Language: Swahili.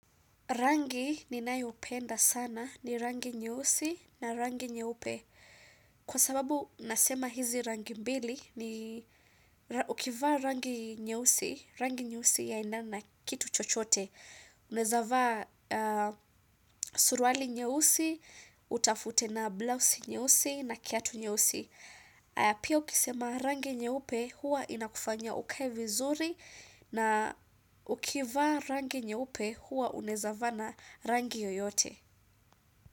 Rangi ni nayo penda sana ni rangi nyeusi na rangi nyeupe. Kwa sababu nasema hizi rangi mbili ni ukivaa rangi nyeusi, rangi nyeusi yaendana na kitu chochote. Naweza vaa suruali nyeusi, utafute na blouse nyeusi na kiatu nyeusi. Haya pia ukisema rangi nyeupe hua inakufanya ukae vizuri na ukivaa rangi nyeupe huwa unawezavaa na rangi yoyote.